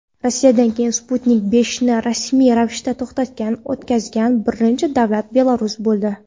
Rossiyadan keyin "Sputnik V"ni rasmiy ravishda ro‘yxatdan o‘tkazgan birinchi davlat Belarus bo‘ldi.